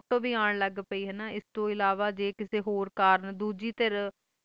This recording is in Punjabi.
ਫੋਟੋ ਵੇ ਆਂ ਲੱਗ ਪਾਏ ਆ ਐਸ ਤੋਂ ਅਲਾਵਾ ਦੂਜੀ ਸਰ ਕਿਸੇ ਹੋਰ ਕਰਨ